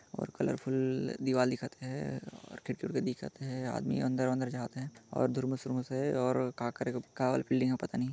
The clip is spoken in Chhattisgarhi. और कलरफ़ुल्ल दिवाल दिखत है और खिड़की-उड़की दिखत है आदमी अंदर-वंदर जावत है और दूर मुस उर मुस हे और का करे का वाले बिल्डिंग ऐ पता नहीं--